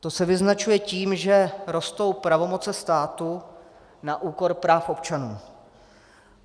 To se vyznačuje tím, že rostou pravomoce státu na úkor práv občanů.